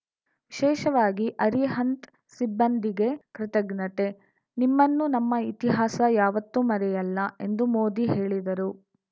ವಿಶೇಷವಾಗಿ ಅರಿಹಂತ್‌ ಸಿಬ್ಬಂದಿಗೆ ಕೃತಜ್ಞತೆ ನಿಮ್ಮನ್ನು ನಮ್ಮ ಇತಿಹಾಸ ಯಾವತ್ತೂ ಮರೆಯಲ್ಲ ಎಂದು ಮೋದಿ ಹೇಳಿದರು